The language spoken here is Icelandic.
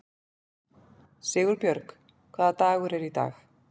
Sigurbjörg, hvaða dagur er í dag?